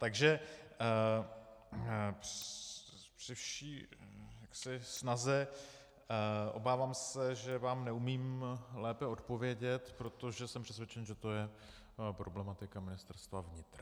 Takže při vší snaze, obávám se, že vám neumím lépe odpovědět, protože jsem přesvědčen, že to je problematika Ministerstva vnitra.